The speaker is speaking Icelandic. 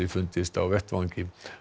fundist á vettvangi